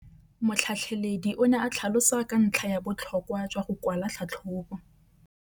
Motlhatlheledi o ne a tlhalosa ka ntlha ya botlhokwa jwa go kwala tlhatlhôbô.